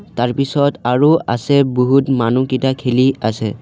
তাৰ পাছত আৰু আছে বহুত মানুহকিটা খেলি আছে।